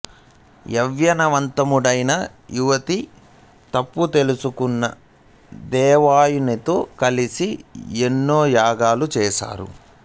యవ్వనవంతుడైన యయాతి తప్పుతెలుసుకున్న దేవయానితో కలసి ఎన్నో యాగాలు చేశాడు